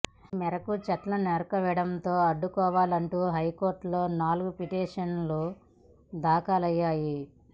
ఈ మేరకు చెట్ల నరికివేత అడ్డుకోవాలంటూ హైకోర్టులో నాలుగు పిటిషన్లు దాఖలయ్యాయి